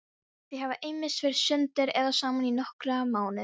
Þau hafa ýmist verið sundur eða saman í nokkra mánuði.